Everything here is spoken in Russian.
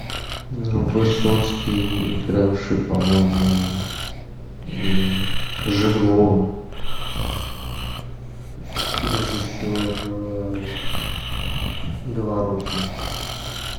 высоцкий игравший по моему жиглова режиссер говорухин